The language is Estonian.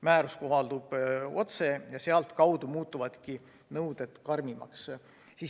Määrus kohaldub otse ja sealtkaudu muutuvadki nõuded karmimaks.